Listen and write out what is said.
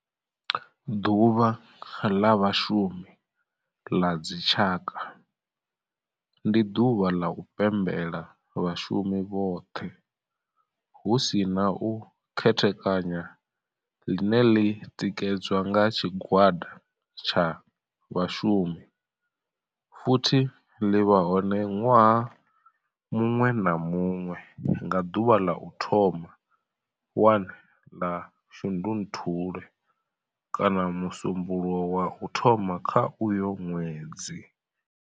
Ḓuvha ḽa Vhashumi ḽa dzi tshaka, ndi duvha ḽa u pembela vhashumi vhothe hu si na u khethekanya ḽine ḽi tikedzwa nga tshigwada tsha vhashumi futhi ḽi vha hone nwaha munwe na munwe nga ḓuvha ḽa u thoma 1 ḽa Shundunthule kana musumbulowo wa u thoma kha uyo nwedzi.